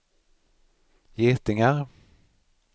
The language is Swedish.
getingar